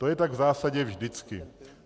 To je tak v zásadě vždycky.